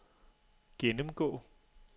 gennemgå